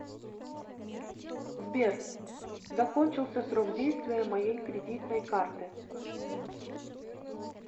сбер закончился срок действия моей кредитной карты